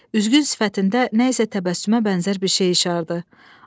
Üzgün sifətində nə isə təbəssümə bənzər bir şey işardı.